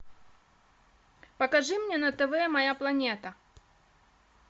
покажи мне на тв моя планета